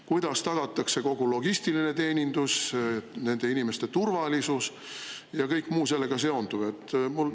" Kuidas tagatakse kogu logistiline teenindus, nende inimeste turvalisus ja kõik muu sellega seonduv?